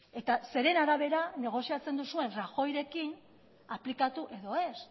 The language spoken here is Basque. eta zeren arabera negoziatzen duzuen rajoyrekin aplikatu edo ez